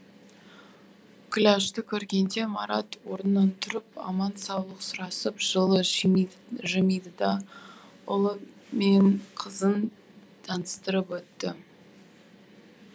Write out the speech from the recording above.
күләшті көргенде марат орнынан тұрып аман саулық сұрасып жылы жымиды да ұлы мен қызын таныстырып өтті